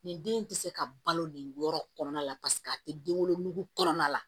Nin den tɛ se ka balo nin yɔrɔ kɔnɔna la paseke a tɛ den wolo kɔnɔna la